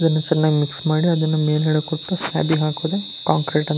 ಇದನ್ನು ಚನ್ನಾಗಿ ಮಿಕ್ಸ್ ಮಾಡಿ ಅದನ್ನು ಮೇಲಗಡೆ ಕೊಟ್ಟು ಸೈಡಿಗೆ ಹಾಕೋದೆ ಕಾಂಕ್ರೀಟ್ ಅಂತ.